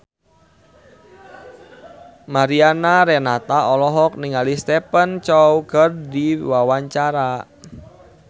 Mariana Renata olohok ningali Stephen Chow keur diwawancara